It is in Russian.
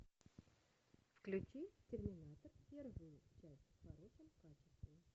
включи терминатор первую часть в хорошем качестве